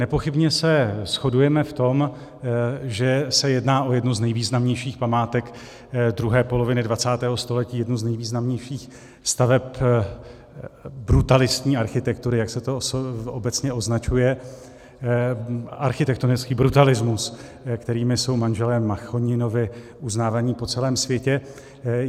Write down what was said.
Nepochybně se shodujeme v tom, že se jedná o jednu z nejvýznamnějších památek druhé poloviny 20. století, jednu z nejvýznamnějších staveb brutalistní architektury, jak se to obecně označuje, architektonický brutalismus, kterým jsou manželé Machoninovi uznáváni po celém světě.